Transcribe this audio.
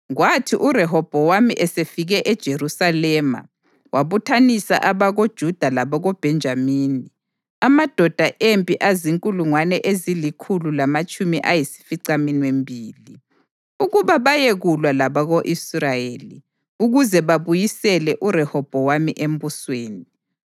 Kwathi uRehobhowami esefike eJerusalema, wabuthanisa abakoJuda labakoBhenjamini, amadoda empi azinkulungwane ezilikhulu lamatshumi ayisificaminwembili ukuba bayekulwa labako-Israyeli ukuze babuyisele uRehobhowami embusweni.